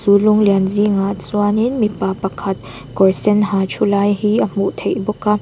lung lian zingah chuanin mipa pakhat kawr sen ha thu lai hi a hmuh theih bawk a.